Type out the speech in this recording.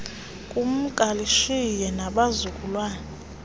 kumka lishiye nabazukulwana